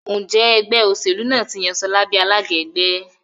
Njé Ẹgbẹ́ òṣèlú náà tí yàn Shola bí alága ẹgbẹ́?